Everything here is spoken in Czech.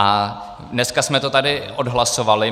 A dneska jsme to tady odhlasovali.